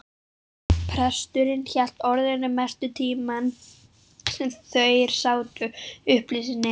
Presturinn hélt orðinu mestan tímann sem þeir sátu, upplýsti